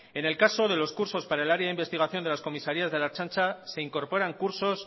en el caso de los cursos para el área de investigación de las comisarías de la ertzantza se incorporan cursos